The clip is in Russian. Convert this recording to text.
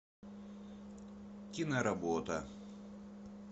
киноработа